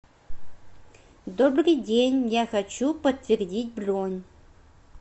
добрый день я хочу подтвердить бронь